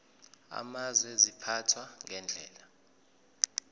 amazwe ziphathwa ngendlela